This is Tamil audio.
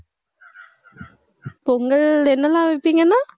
பொங்கல், என்னெல்லாம் வைப்பீங்கன்னா?